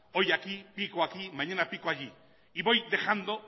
hoy aquí pico aquí mañana pico allí y voy dejando